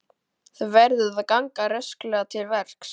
Þú verður að ganga rösklega til verks.